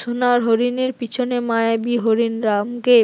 সোনার হরিণের পেছনে মায়াবী হরিণ রামকে